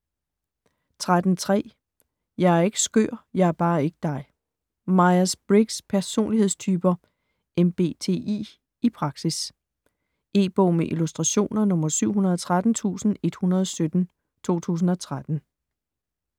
13.3 Jeg er ikke skør - jeg er bare ikke dig Myers-Briggs' personlighedstyper ( MBTI) i praksis. E-bog med illustrationer 713117 2013.